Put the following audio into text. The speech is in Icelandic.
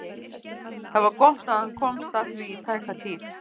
Það var gott að hann komst að því í tæka tíð.